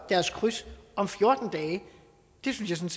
deres kryds om fjorten dage det synes jeg